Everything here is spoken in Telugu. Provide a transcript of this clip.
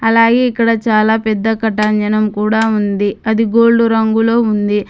అలాగే ఇక్కడ చాలా పెద్ద కాటంజనం కూడా ఉంది అది గోల్డ్ రంగులో ఉంది.